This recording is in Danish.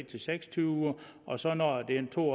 til seks og tyve uger og så når den to